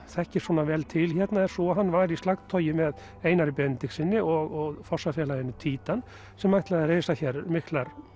þekkir svona vel til er sú að hann var í slagtogi með Einari Benediktssyni og fossafélaginu títan sem ætlaði að reisa hér miklar